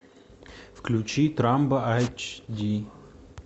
включи трамба аш ди